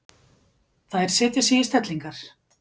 Þær setja sig í stellingar.